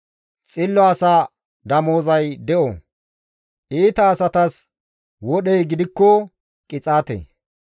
Xillo asa damozay de7o; iita asatas wodhey gidikko qixaate.